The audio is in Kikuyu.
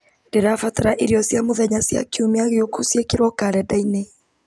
ndĩrabatara irio cia mũthenya cia kiumia gĩũku ciĩkĩrwo karenda-inĩ